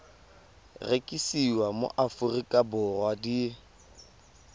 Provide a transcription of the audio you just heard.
rekisiwa mo aforika borwa di